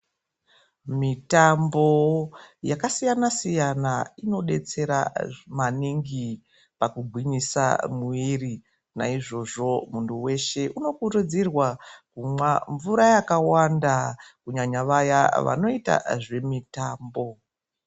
Mitambo yaka siyana siyana ino detsera maningi paku gwinyisa muwiri naizvozvo muntu weshe uno kurudzirwa kumwa mvura yakawanda kunyanya vaya vanoita zve mutambo.